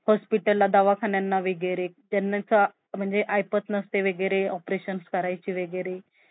त्या सरव्हा गोष्टींचा जो effect तो आपल्या job वर होत असतो न जर online असेल तर